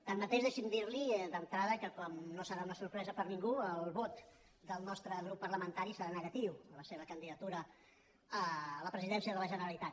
tanmateix deixi’m dirli d’entrada que com no serà una sorpresa per a ningú el vot del nostre grup parlamentari serà negatiu a la seva candidatura a la presidència de la generalitat